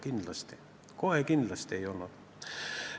Seda kohe kindlasti ei olnud.